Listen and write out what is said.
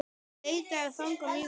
Ég leitaði fanga mjög víða.